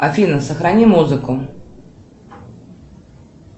афина сохрани музыку